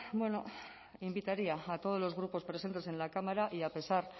bueno invitaría a todos los grupos presentes en la cámara y a pesar